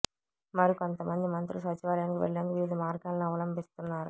మరికొంత మంది మంత్రులు సచివాలయానికి వెళ్లేందుకు వివిధ మార్గాలను అవలంభిస్తున్నారు